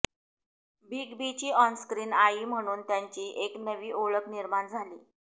big बींची onscreen आई म्हणून त्यांची एक नवी ओळख निर्माण झाली